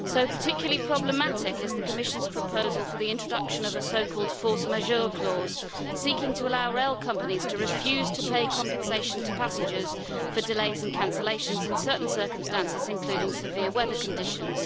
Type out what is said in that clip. So, particularly problematic is the Commission's proposal for the introduction of a so-called force majeure' clause, seeking to allow rail companies to refuse to pay compensation to passengers for delays and cancellations in certain circumstances, including severe weather conditions.